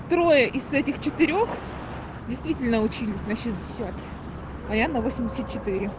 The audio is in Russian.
трое из этих четырёх действительно учились на шестьдесят а я на восемьдесят четыре